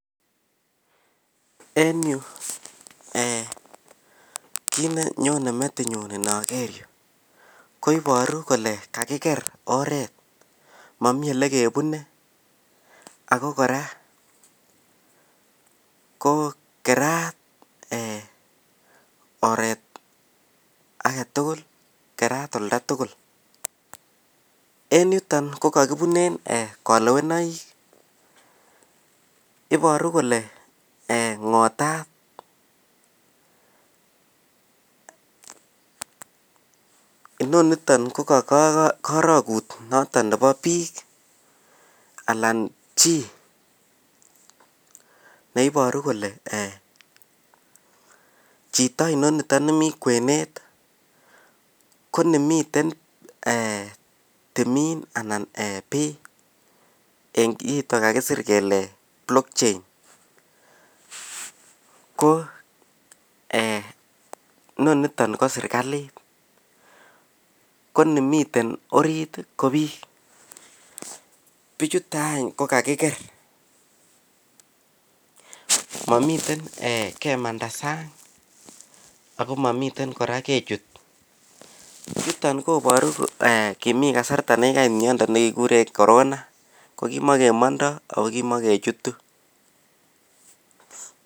en yu eeh kiit nenyone metinyun nogeer, koiboru kole kagigeer oreet momii elekebune ago kora ko keraat eeh oreet agetugul keraat oldo tugul, en yuton ko kagibunen kolewenoik iboru kole ngotaat, inoniton ko kagorogut noton nebo biik anan chi neiboru kole eeh chito inoniton nemii kweneet ko nemiten timiin anan bii en kiiton kagisir kele block chain ko eeh noniton ko sirkalit ko nimiten oriit ko biik, bichuton any ko kagigeer momiten kemanda sang ago mimiten kora kechut, niton koboru kimii kasarta negigait myondo negeguren Corona kimogemondoo ago kimogechutu.